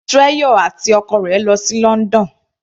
Treasure àti ọkọ rẹ̀ lọ sí London.